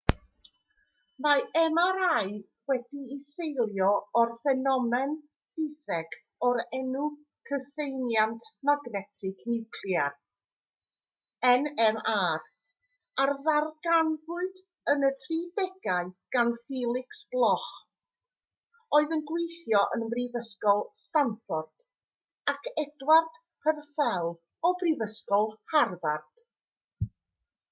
mae mri wedi'i seilio ar ffenomen ffiseg o'r enw cyseiniant magnetig niwclear nmr a ddarganfuwyd yn y 1930au gan felix bloch oedd yn gweithio ym mhrifysgol stanford ac edward purcell o brifysgol harvard